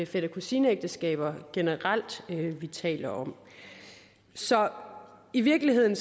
fætter kusine ægteskaber generelt vi taler om så i virkeligheden